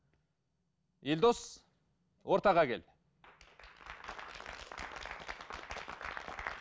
елдос ортаға кел